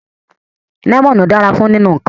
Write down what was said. Lemonu dara fun ninu nnkan